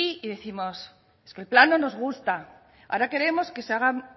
y décimos es que el plan no nos gusta ahora queremos que se hagan